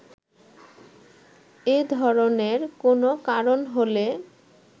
এ ধরনের কোনো কারণ হলে